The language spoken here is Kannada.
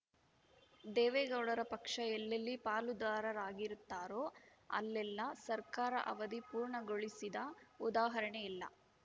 ದೇವೇಗೌಡರ ಪಕ್ಷ ಎಲ್ಲೆಲ್ಲಿ ಪಾಲುದಾರರಾಗಿರುತ್ತಾರೋ ಅಲ್ಲೆಲ್ಲಾ ಸರ್ಕಾರ ಅವಧಿ ಪೂರ್ಣಗೊಳಿಸಿದ ಉದಾಹರಣೆಯಿಲ್ಲ